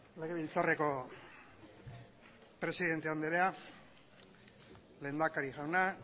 legebiltzarreko presidente anderea lehendakari jauna